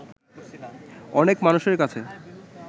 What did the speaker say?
অনেক মানুষের কাছে